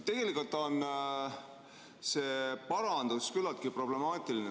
Tegelikult on see parandus küllaltki problemaatiline.